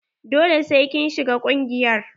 Dole sai kin shiga ƙungiyar.